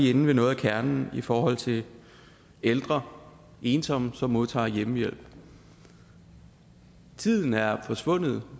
inde ved noget af kernen i forhold til ældre ensomme som modtager hjemmehjælp tiden er forsvundet